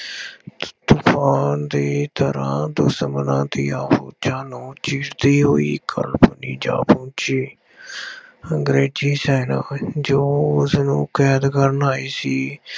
ਤੂਫਾਨ ਦੀ ਤਰ੍ਹਾਂ ਦੁਸ਼ਮਣਾਂ ਦੀ ਆਫੂਜਾ ਨੂੰ ਚੀਰਦੀ ਹੋਈ ਖਰਵੜੀ ਜਾ ਪਹੁੰਚੀ। ਅੰਗਰੇਜ਼ੀ ਸੈਨਿਕ ਜੋ ਉਸਨੂੰ ਕੈਦ ਕਰਨ ਆਏ ਸੀ